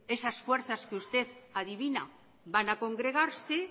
esas fuerzas que usted adivina van a congregarse